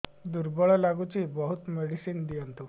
ଦୁର୍ବଳ ଲାଗୁଚି ବହୁତ ମେଡିସିନ ଦିଅନ୍ତୁ